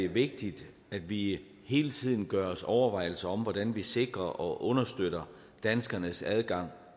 vigtigt at vi hele tiden gør os overvejelser om hvordan vi sikrer og understøtter danskernes adgang